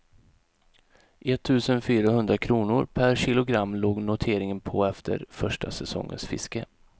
Ett tusen fyra hundra kronor per kilogram låg noteringen på efter första säsongens fiske.